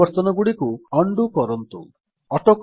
ପରିବର୍ତ୍ତନଗୁଡିକ ଚାଲନ୍ତୁ ଉଣ୍ଡୋ କରିଦେବା